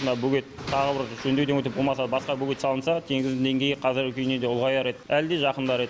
мына бөгет тағы бір жөндеуден өтіп болмаса басқа бөгет салынса теңіздің деңгейі қазіргі күйінен де ұлғаяр еді әлде жақындар еді